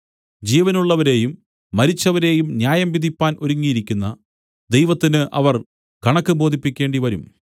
ജീവനുള്ളവരെയും മരിച്ചവരേയും ന്യായം വിധിപ്പാൻ ഒരുങ്ങിയിരിക്കുന്ന ദൈവത്തിന് അവർ കണക്ക് ബോധിപ്പിക്കേണ്ടിവരും